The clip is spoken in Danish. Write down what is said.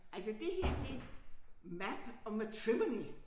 Altså det her det map of matrimony